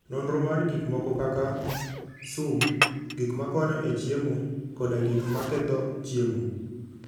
Nonro mar gik moko kaka: sum, gik makonyo e chiemo, koda gik maketho chiemo.